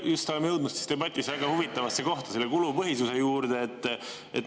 Me oleme jõudmas debatis huvitavasse kohta: kulupõhisuse juurde.